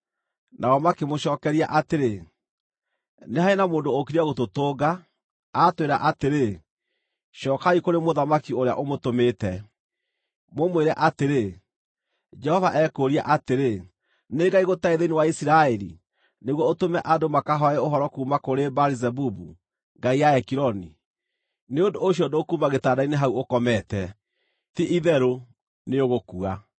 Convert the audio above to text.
Nao makĩmũcookeria atĩrĩ, “Nĩ harĩ na mũndũ ũũkire gũtũtũnga, aatwĩra atĩrĩ, ‘Cookai kũrĩ mũthamaki ũrĩa ũmũtũmĩte, mũmwĩre atĩrĩ, “Jehova ekũũria atĩrĩ: Nĩ Ngai gũtarĩ thĩinĩ wa Isiraeli nĩguo ũtũme andũ makahooe ũhoro kuuma kũrĩ Baali-Zebubu, ngai ya Ekironi? Nĩ ũndũ ũcio ndũkuuma gĩtanda-inĩ hau ũkomete. Ti-itherũ nĩũgũkua!” ’”